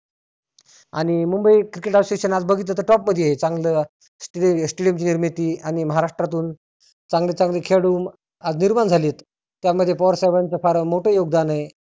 आणि Mumbai cricket association आज बघितलं तर top मध्ये आहे. चांगलं stadium ची निर्मिती आणि महाराष्ट्रातुन चांगले चांगले खेळाडु आज निर्मान झालेत. त्यामध्ये पवार साहेबाच फार मोठ योगदान आहे.